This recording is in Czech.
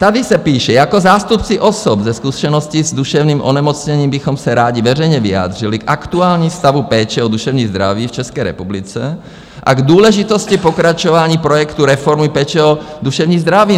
Tady se píše: "Jako zástupci osob se zkušeností s duševním onemocněním bychom se rádi veřejně vyjádřili k aktuálnímu stavu péče o duševní zdraví v České republice a k důležitosti pokračování projektu reformy péče o duševní zdraví."